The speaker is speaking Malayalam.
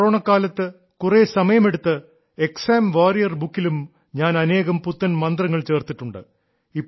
ഈ കൊറോണക്കാലത്ത് കുറെ സമയമെടുത്ത് എക്സാം വാരിയർ ബുക്കിലും ഞാൻ അനേകം പുത്തൻ മന്ത്രങ്ങൾ ചേർത്തിട്ടുണ്ട്